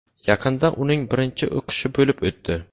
Yaqinda uning birinchi o‘qishi bo‘lib o‘tdi.